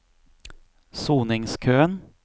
soningskøen